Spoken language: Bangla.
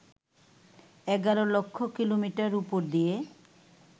১১ লক্ষ কিলোমিটার উপর দিয়ে